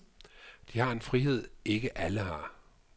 De har en frihed, ikke alle har.